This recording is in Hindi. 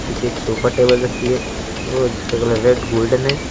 पीछे एक सोफा टेबल रखी है। वो जिसका कलर रेड गोल्डेन है।